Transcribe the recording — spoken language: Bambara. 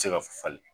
Se ka falen